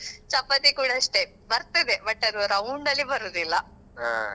chapathi ಕೂಡ ಅಷ್ಟೇ ಬರ್ತದೆ but ಅದು round ಅಲ್ಲಿ ಬರುದಿಲ್ಲ.